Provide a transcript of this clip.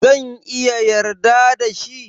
Zan iya yarda da shi?